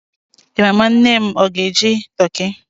Ị ma ma nne m o ga-eji toki?